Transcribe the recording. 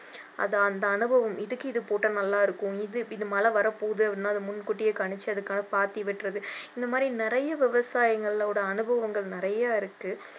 அது அந்த அளவு இதுக்கு இதை போட்டா நல்லா இருக்கும், இது மழை வரப்போது அப்படின்னா அதை முன்கூட்டியே கணிச்சு அதுக்காக பாத்தி வெட்டுறது இந்த மாதிரி நிறைய விவசாயிகளோட அனுபவங்கள் நிறைய இருக்கு